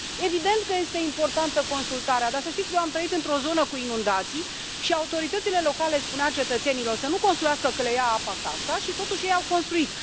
Evident că este importantă consultarea, dar să știți că eu am trăit într o zonă cu inundații și autoritățile locale le spuneau cetățenilor să nu construiască, că le ia apa casa și, totuși, ei au construit.